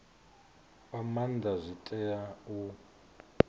fha maanda zwi tea u